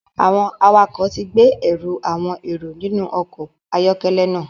Awọn awakọ ti gbe ẹru awọn ero inu ọkọ ayọkẹlẹ náà